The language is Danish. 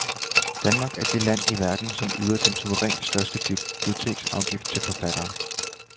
Danmark er det land i verden, som yder den suverænt største biblioteksafgift til forfattere.